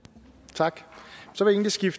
tak